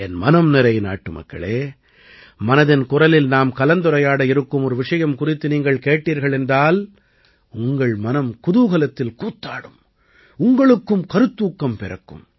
என் மனம்நிறை நாட்டுமக்களே மனதின் குரலில் நாம் கலந்துரையாட இருக்கும் ஒரு விஷயம் குறித்து நீங்கள் கேட்டீர்கள் என்றால் உங்கள் மனம் குதூகலத்தில் கூத்தாடும் உங்களுக்கும் கருத்தூக்கம் பிறக்கும்